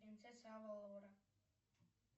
принцесса авалора